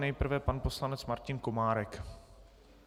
Nejprve pan poslanec Martin Komárek.